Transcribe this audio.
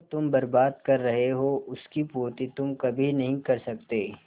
जो तुम बर्बाद कर रहे हो उसकी पूर्ति तुम कभी नहीं कर सकते